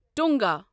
ٹونگا